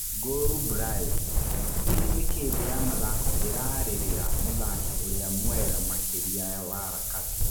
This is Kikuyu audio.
Ngũru Brayo: Hihi nĩ kĩĩ thĩ ya mathako ĩrarĩrĩra mũthaki ũrĩa mwega makĩria wa Rakati?